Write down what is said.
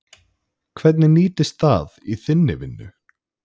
Hvernig nýtist það í þinni vinnu?